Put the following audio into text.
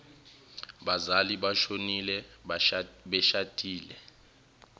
bazali boshonile beshadile